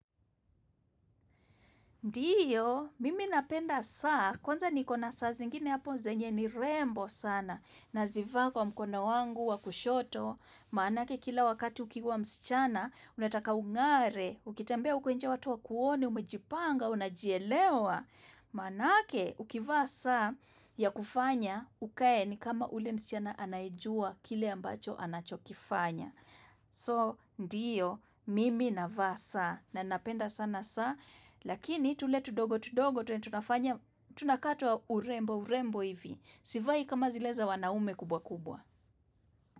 Ndiyo, mimi napenda saa, kwanza nikona saa zingine hapo zenye ni rembo sana, na zivaa kwa mkoni wangu wa kushoto, manake kila wakati ukiwa msichana, unataka ungare, ukitembea uko nje watu wa kuone umejipanga, unajielewa, manake ukiva saa ya kufanya, ukae ni kama ule msichana anajua kile ambacho anachokifanya. So ndiyo mimi navaa saa na napenda sana saa Lakini tule tudogo tudogo tunakaa twa urembo urembo hivi sivai kama zile za wanaume kubwa kubwa.